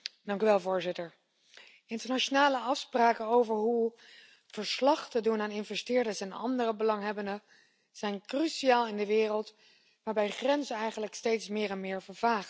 Voorzitter, internationale afspraken over hoe verslag te doen aan investeerders en andere belanghebbenden zijn cruciaal in een wereld waarin grenzen eigenlijk steeds meer vervagen.